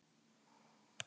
Það hefur ekki gengið.